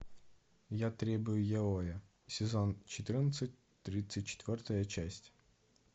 я требую яоя сезон четырнадцать тридцать четвертая часть